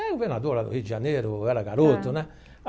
Era governador lá do Rio de Janeiro, eu era garoto, né?